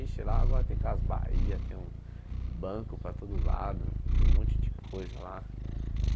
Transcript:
Ixi, lá agora tem Casas bahia, tem um banco para todo lado, tem um monte de coisa lá.